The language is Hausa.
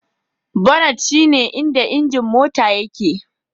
Bonnet shine inda injin Mota yake